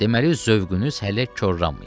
Deməli zövqünüz hələ korlanmayıb.